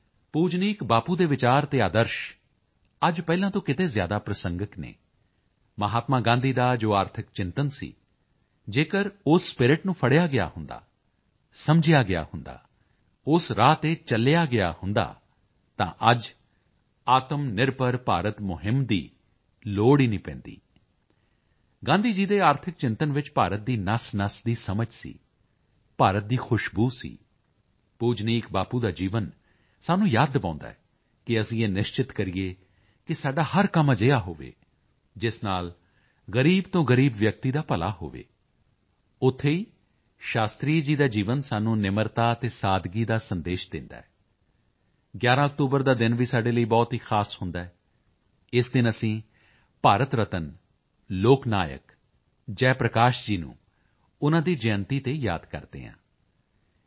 ਪੂਜਨੀਕ ਬਾਪੂ ਦੇ ਵਿਚਾਰ ਅਤੇ ਆਦਰਸ਼ ਅੱਜ ਪਹਿਲਾਂ ਤੋਂ ਕਿਤੇ ਜ਼ਿਆਦਾ ਪ੍ਰਸੰਗਕ ਹਨ ਮਹਾਤਮਾ ਗਾਂਧੀ ਦਾ ਜੋ ਆਰਥਿਕ ਚਿੰਤਨ ਸੀ ਜੇਕਰ ਉਸ ਨੂੰ ਫੜ੍ਹਿਆ ਗਿਆ ਹੁੰਦਾ ਸਮਝਿਆ ਗਿਆ ਹੁੰਦਾ ਉਸ ਰਾਹ ਤੇ ਚੱਲਿਆ ਗਿਆ ਹੁੰਦਾ ਤਾਂ ਅੱਜ ਆਤਮਨਿਰਭਰ ਭਾਰਤ ਮੁਹਿੰਮ ਦੀ ਲੋੜ ਹੀ ਨਹੀਂ ਪੈਂਦੀ ਗਾਂਧੀ ਜੀ ਦੇ ਆਰਥਿਕ ਚਿੰਤਨ ਵਿੱਚ ਭਾਰਤ ਦੀ ਨਸਨਸ ਦੀ ਸਮਝ ਸੀ ਭਾਰਤ ਦੀ ਖੁਸ਼ਬੂ ਸੀ ਪੂਜਨੀਕ ਬਾਪੂ ਦਾ ਜੀਵਨ ਸਾਨੂੰ ਯਾਦ ਦਿਵਾਉਦਾ ਹੈ ਕਿ ਅਸੀਂ ਇਹ ਨਿਸ਼ਚਿਤ ਕਰੀਏ ਕਿ ਸਾਡਾ ਹਰ ਕੰਮ ਅਜਿਹਾ ਹੋਵੇ ਜਿਸ ਨਾਲ ਗ਼ਰੀਬ ਤੋਂ ਗ਼ਰੀਬ ਵਿਅਕਤੀ ਦਾ ਭਲਾ ਹੋਵੇ ਉੱਥੇ ਹੀ ਸ਼ਾਸਤਰੀ ਜੀ ਦਾ ਜੀਵਨ ਸਾਨੂੰ ਨਿਮਰਤਾ ਅਤੇ ਸਾਦਗੀ ਦਾ ਸੰਦੇਸ਼ ਦਿੰਦਾ ਹੈ 11 ਅਕਤੂਬਰ ਦਾ ਦਿਨ ਵੀ ਸਾਡੇ ਲਈ ਬਹੁਤ ਹੀ ਖਾਸ ਹੁੰਦਾ ਹੈ ਇਸ ਦਿਨ ਅਸੀਂ ਭਾਰਤ ਰਤਨ ਲੋਕ ਨਾਇਕ ਜੈ ਪ੍ਰਕਾਸ਼ ਜੀ ਨੂੰ ਉਨ੍ਹਾਂ ਦੀ ਜਯੰਤੀ ਤੇ ਯਾਦ ਕਰਦੇ ਹਾਂ ਜੇ